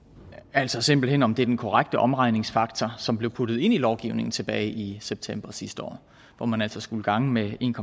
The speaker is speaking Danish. altså simpelt hen om det er den korrekte omregningsfaktor som blev puttet ind i lovgivningen tilbage i september sidste år hvor man altså skulle gange med en